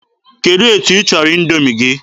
Kedụ etu ịchọrọ Indoomi gị?